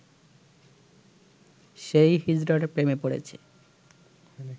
সেই হিজড়ার প্রেমে পড়েছে